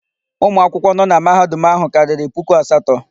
Ụmụ akwụkwọ nọ na Mahadum áhụ̀ karịrị puku asatọ.